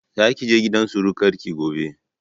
Za ki je gidan surukar ki gobe